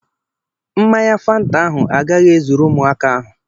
Mmanya Fanta ahụ agaghị ezuru ụmụaka ahụ